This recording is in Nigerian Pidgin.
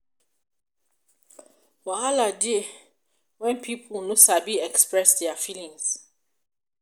wahala de dey when pipo no sabi express their feelings